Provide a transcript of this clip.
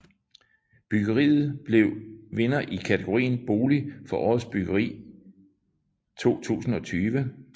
Byggeriet blev vinder i kategorien Bolig for Årets Byggeri 2020